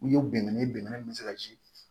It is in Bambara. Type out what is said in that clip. U ye bɛnkan ye bɛnkan min bɛ se ka si